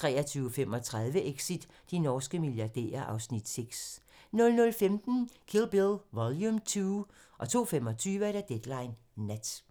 23:35: Exit - de norske milliardærer (Afs. 6) 00:15: Kill Bill Vol. 2 02:25: Deadline Nat